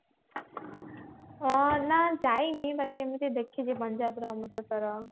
ହଁ ନା ଯାଇନି ବାକି ଏମତି ଦେଖିଛି ପଞ୍ଜାବ ର ଅମୃତସର